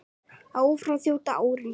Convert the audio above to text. Áfram þjóta árin